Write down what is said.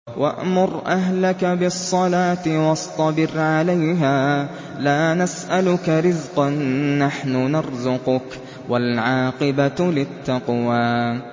وَأْمُرْ أَهْلَكَ بِالصَّلَاةِ وَاصْطَبِرْ عَلَيْهَا ۖ لَا نَسْأَلُكَ رِزْقًا ۖ نَّحْنُ نَرْزُقُكَ ۗ وَالْعَاقِبَةُ لِلتَّقْوَىٰ